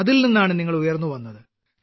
അതിൽ നിന്നാണ് നിങ്ങൾ ഉയർന്നുവന്നത്